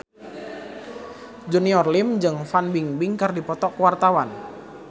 Junior Liem jeung Fan Bingbing keur dipoto ku wartawan